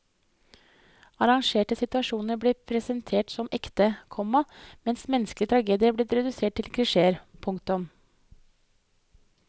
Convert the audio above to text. Arrangerte situasjoner blir presentert som ekte, komma mens menneskelig tragedie blir redusert til klisjéer. punktum